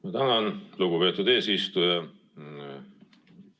Ma tänan, lugupeetud eesistuja!